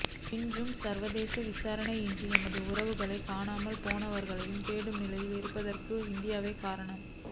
இன்றும் சர்வதேச விசாரணையின்றி எமது உறவுகள் காணாமல் போனவர்களை தேடும் நிலையில் இருப்பதற்கும் இந்தியாவே காரணம்